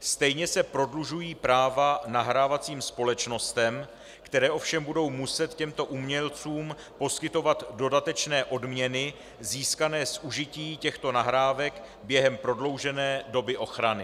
Stejně se prodlužují práva nahrávacím společnostem, které ovšem budou muset těmto umělcům poskytovat dodatečné odměny získané z užití těchto nahrávek během prodloužené doby ochrany.